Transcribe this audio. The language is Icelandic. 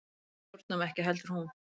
Við stjórnuðum ekki heldur hún.